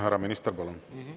Härra minister, palun!